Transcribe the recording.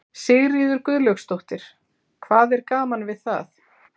Sigríður Guðlaugsdóttir: Hvað er gaman við það?